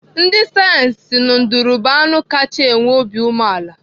Ndị sayensị si na nduru bụ anụ kachaa nwee obi umeala.